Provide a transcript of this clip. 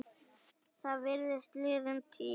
Það virðist liðin tíð.